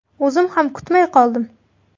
O‘zim ham kutmay qoldim.